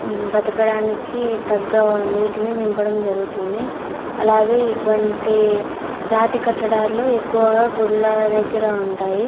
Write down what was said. మ్మ్ బతకడానికి తగ్గ నీటిని నింపడం జరుగుతుంది అలాగే ఇటువంటి రాతికట్టడాలు ఎక్కువగా గుడ్ల దెగ్గర ఉంటాయి.